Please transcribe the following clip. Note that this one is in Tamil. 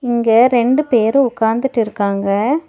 இங்க ரெண்டு பேரு உக்காந்துட்டு இருக்காங்க.